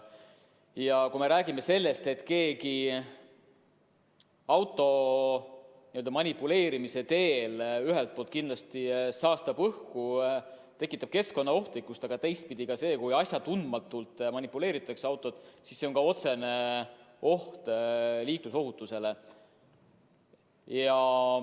Ja kui me räägime sellest, et keegi autoga manipuleerides ühelt poolt kindlasti saastab õhku, tekitab keskkonnaohtu, siis teistpidi on ka see, kui asjatundmatult autoga manipuleeritakse, otsene risk liiklusohutusele.